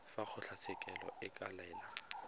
fa kgotlatshekelo e ka laela